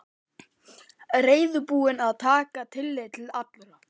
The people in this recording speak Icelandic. Reiðubúinn að taka tillit til allra.